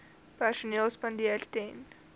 perseel spandeer ten